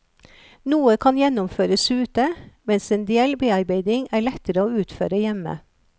Noe kan gjennomføres ute, mens en del bearbeiding er lettere å utføre hjemme.